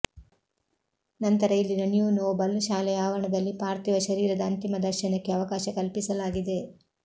ನಂತರ ಇಲ್ಲಿನ new noble ಶಾಲೆಯ ಆವರಣದಲ್ಲಿ ಪಾರ್ಥಿವ ಶರೀರದ ಅಂತಿಮ ದರ್ಶನಕ್ಕೆ ಅವಕಾಶ ಕಲ್ಪಿಸಲಾಗಿದೆ